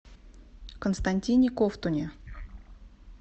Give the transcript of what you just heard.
константине ковтуне